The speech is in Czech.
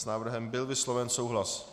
S návrhem byl vysloven souhlas.